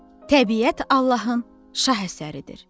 Təbiət Allahın şah əsəridir.